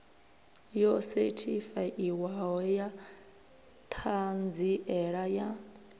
yo sethifaiwaho ya ṱhanziela ya